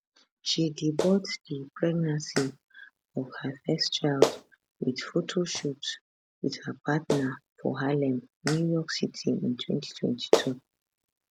she debut di pregnancy of her first child wit photoshoot wit her partner for harlem new york city in 2022